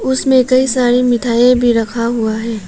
उसमें कई सारी मिठाई भी रखा हुआ है।